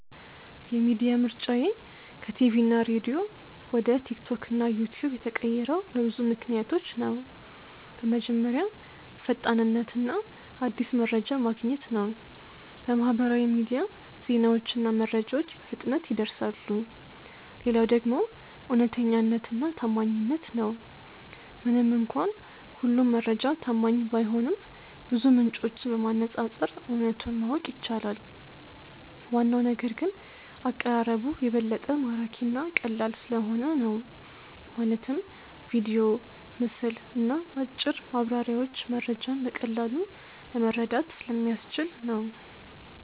የሚዲያ ምርጫዬ ከቲቪና ሬዲዮ ወደ ቲክቶክ እና ዩትዩብ የተቀየረው በብዙ ምክንያቶች ነው። በመጀመሪያ ፈጣንነት እና አዲስ መረጃ ማግኘት ነው፤ በማህበራዊ ሚዲያ ዜናዎችና መረጃዎች በፍጥነት ይደርሳሉ። ሌላው ደግሞ እውነተኛነትና ታማኝነት ነው፤ ምንም እንኳን ሁሉም መረጃ ታማኝ ባይሆንም ብዙ ምንጮችን በማነፃፀር እውነቱን ማወቅ ይቻላል። ዋናው ነገር ግን አቀራረቡ የበለጠ ማራኪ እና ቀላል ስለሆነ ነው፤ ማለትም ቪዲዮ፣ ምስል እና አጭር ማብራሪያዎች መረጃን በቀላሉ ለመረዳት ስለሚያስችል ነው